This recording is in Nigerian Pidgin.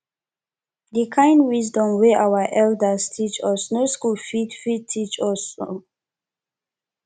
the kind wisdom wey our elders teach us no school fit fit teach us um